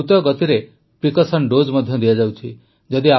ଦେଶରେ ଦ୍ରୁତଗତିରେ precaution dose ମଧ୍ୟ ଦିଆଯାଉଛି